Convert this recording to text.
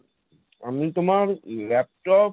আমি তোমার laptop